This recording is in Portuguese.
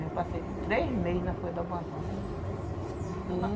Eu passei três meses na folha da banana.